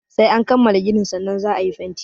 Sai an kammala ginin sannan za a yi fenti.